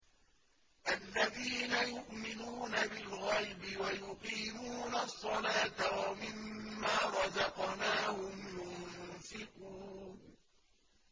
الَّذِينَ يُؤْمِنُونَ بِالْغَيْبِ وَيُقِيمُونَ الصَّلَاةَ وَمِمَّا رَزَقْنَاهُمْ يُنفِقُونَ